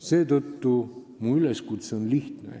Seetõttu on mu üleskutse lihtne.